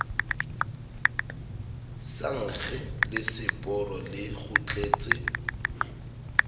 sa nkge leseporo le kgutletse